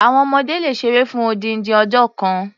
Àwon ọmọdé le ṣeré fún odindin ọjọ́ kan.